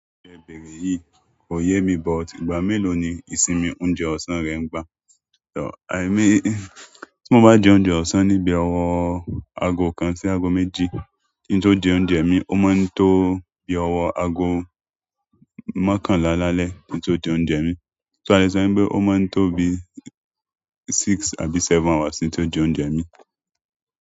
Ti ẹ bèrè yìí kò yé mi but ìgbà mélòó ni ìsinmi oúnjẹ ọ̀sán rẹ ń gba? Emi, tí mo bá jẹ oúnjẹ ọ̀sán níbi ọwọ́ aago kan sí aago méjì, kí n tó jẹ oúnjẹ mi, ó má ń tó bí ọwọ́ aago mọ́kànlá lálẹ́ tí n tó jẹ oúnjẹ mi. So alẹ́ sọ wi pé ó máa ń tó bí six àbí seven hours kí n tó jẹ oúnjẹ mi.